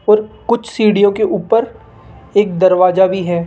और कुछ सीढ़ियों के ऊपर एक दरवाजा भी है।